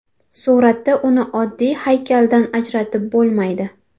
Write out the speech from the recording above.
Suratda uni oddiy haykaldan ajratib bo‘lmaydi.